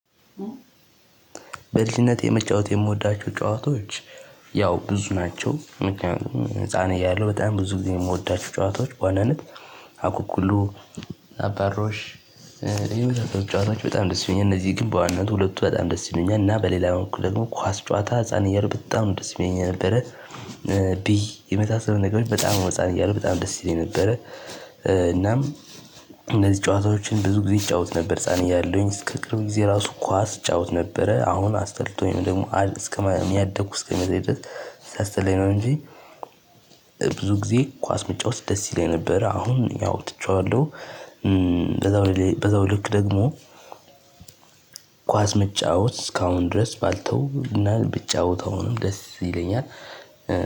በልጅነቴ መጫወት የምወዳቸው ጨዋታዎች ያው ብዙ ናቸው። ምክንያቱም ህፃን እያለሁ በጣም ብዙ ጊዜ የምወዳቸው ጨዋታዎች በዋናነት አኩኩሉ አባሮሽ ይሁን ሁላ ጨዋታዎች በጣም ደስ ይሉኛል። እነዚህ ግን በዋናነት ሁለቱ በጣም ደስ ይሉኛል። እና በሌላ በኩል ደግሞ ኳስ ጨዋታ ህፃን እያለሁ በጣም ነው ደስ የሚለኝ የነበረ። ብይ የመሳሰሉ ነገሮች በጣም ነው ህፃን እያለሁ በጣም ደስ ይለኝ ነበረ። እናም እነዚህ ጨዋታዎችን ብዙ ጊዜ እጫወት ነበር ህፃን እያለውኝ እስከ ቅርብ ጊዜ ራሱ ኳስ ጫውት ነበረ። አሁን አስጠልቶኝ ደግሞ ያደኩ እስኪመስለኝ ድረስ ሲያስጠላኝ ነው። እንጂ ብዙ ጊዜ ኳስ መጫወት ደስ ይለኝ ነበር። አሁን ያው ትቼዋለሁ። በዛው ልክ ደግሞ ኳስ መጫወት እስካሁን ድረስ ባልተውና ብጫወት አሁንም ደስ ይለኛል።